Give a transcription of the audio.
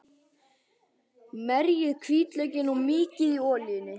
Merjið hvítlaukinn og mýkið í olíunni.